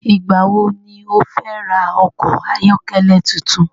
Ìgbà wo ni o fẹ́ ra okọ̀ ayọ́kẹ́lẹ́ tuntun?